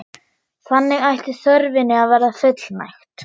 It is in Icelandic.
Þannig ætti þörfinni að verða fullnægt.